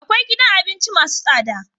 Akwai gidan abinci masu tsada